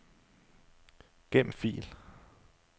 Gem fil.